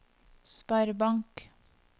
sparebank